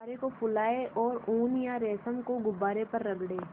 गुब्बारे को फुलाएँ और ऊन या रेशम को गुब्बारे पर रगड़ें